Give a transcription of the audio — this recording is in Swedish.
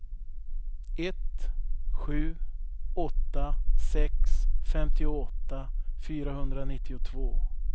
ett sju åtta sex femtioåtta fyrahundranittiotvå